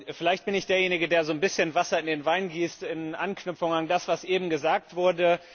Vielleicht bin ich derjenige, der so ein bisschen Wasser in den Wein gießt in Anknüpfung an das, was eben gesagt wurde.